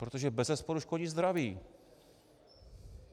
Protože bezesporu škodí zdraví.